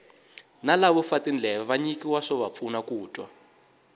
na lavo fa tindleve va nyikiwa swova pfuna ku twa